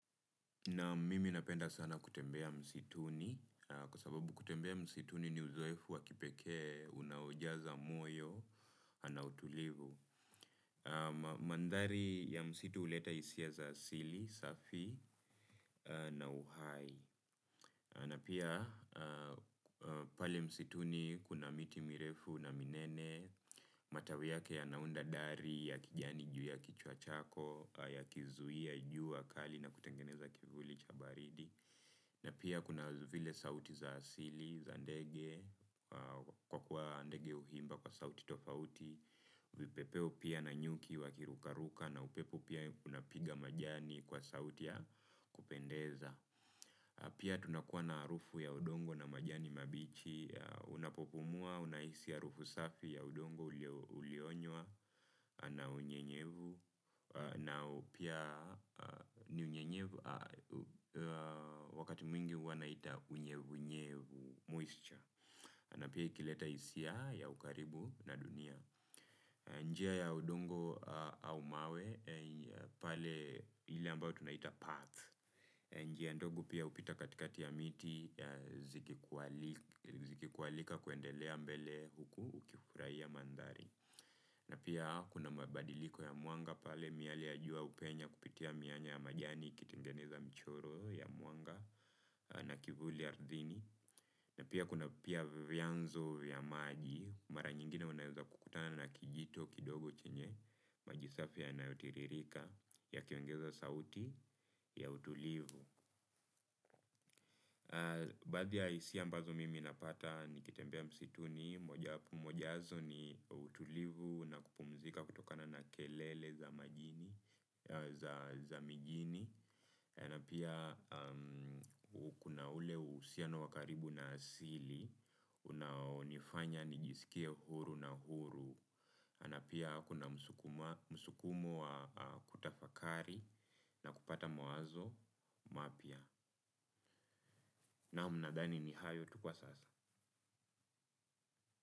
Naam, mimi napenda sana kutembea msituni, kwa sababu kutembea msituni ni uzoefu wa kipekee unaojaza moyo na utulivu. Mandhari ya msitu huleta hisia za asili safi na uhai. Na pia pale msituni kuna miti mirefu na minene, matawi yake yanaunda dari ya kijani juu ya kichwa chako yakizuia jua kali na kutengeneza kivuli cha baridi. Na pia kuna vile sauti za asili, za ndege, kwa kuwa ndege huimba kwa sauti tofauti. Vipepeo pia na nyuki wakirukaruka na upepo pia kunapiga majani kwa sauti ya kupendeza. Pia tunakuwa na harufu ya udongo na majani mabichi. Unapopumua, unahisi harufu safi ya udongo ulionywa na unyevunyevu. Na pia ni unyevunyevu wakati mwingi wanaita unyevu unyevu, moisture, na pia ikileta hisia ya ukaribu na dunia. Njia ya udongo au mawe pale ile ambayo tunaita path. Njia ndogo pia hupita katikati ya miti zikikualika kuendelea mbele huku ukifurahia mandhari. Na pia kuna mabadiliko ya mwanga pale miale ya jua hupenya kupitia mianya ya majani ikitengeneza michoro ya mwanga na kivuli ardhini. Na pia kuna pia vyanzo vya maji. Mara nyingine unaweza kukutana na kijito kidogo chenye maji safi yanayotiririka yakiongeza sauti ya utulivu. Baadhi ya hisia ambazo mimi napata nikitembea msituni, moja yazo ni utulivu na kupumzika kutokana na kelele za mijini na pia kuna ule uhusiano wa karibu na asili unaonifanya nijisikie huru na uhuru na pia kuna msukumo wa kutafakari na kupata mawazo mapya. Naam, nadhani ni hayo tu kwa sasa.